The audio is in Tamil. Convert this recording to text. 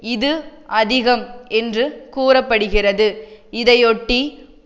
இது அதிகம் என்று கூற படுகிறது இதையொட்டி